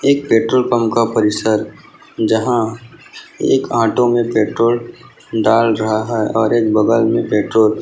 एक petrol pump का परिसर जहा एक ऑटो मे पेट्रोल डाल रहा है और एक बगल मे पेट्रोल --